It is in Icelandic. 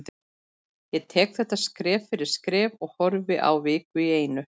Ég tek þetta skref fyrir skref og horfi á viku einu.